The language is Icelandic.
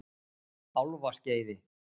Álfaskeiði